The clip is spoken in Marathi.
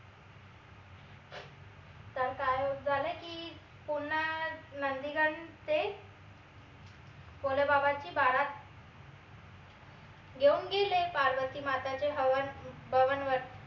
तर काय झालं की पुन्हा नंदीगण ते भोले बाबाची बारात घेऊन गेले पार्वती माताच्या हवन भवन वर